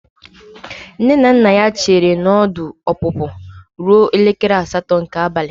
Nne na nna ya chere na ọdụ ọpụpụ ruo elekere asatọ nke abalị.